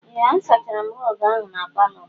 Ee, a sachara m rọg ahụ n'palo m.